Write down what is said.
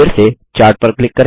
फिर से चार्ट पर क्लिक करें